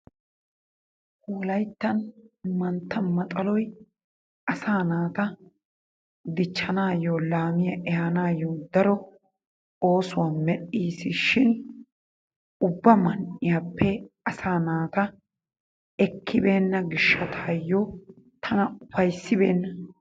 wolaytta mantta maxaloy asaa naata diichchanayoo laamiyaa eehanayoo daro oosuwaa medhiisishin ubba man'iyappe asaa naata ekibeena giishshatayoo tana upayssibena.